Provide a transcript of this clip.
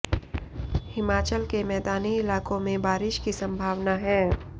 हिमाचल के मैदानी इलाकों में बारिश की संभावना है